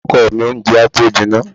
Ọkọ mi, oúnjẹ á tó jinná.